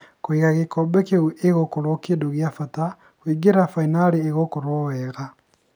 Kwiga gĩkombe kĩũ ĩgũkorwo kĩndũ kia bata ,kũingĩra finari ĩgũkorwa wega"